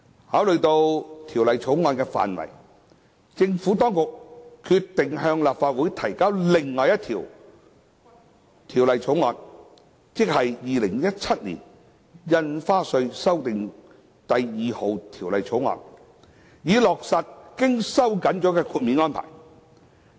考慮到《條例草案》的範圍，政府當局決定向立法會提交另一項《2017年印花稅條例草案》，以落實經收緊的豁免安排。